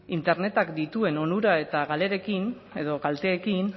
internetak dituen onura eta galerekin edo kalteekin